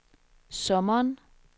sommeren